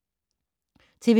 TV 2